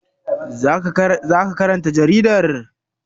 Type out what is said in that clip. Za ka karanta jaridar?